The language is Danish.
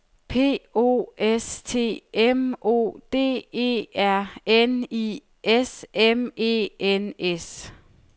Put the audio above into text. P O S T M O D E R N I S M E N S